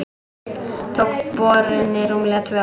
Tók borunin rúmlega tvö ár.